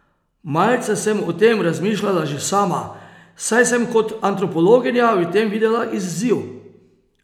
Malce sem o tem razmišljala že sama, saj sem kot antropologinja v tem videla izziv.